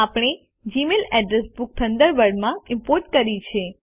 આપણે Gmail address book થન્ડરબર્ડમાં import કરી છે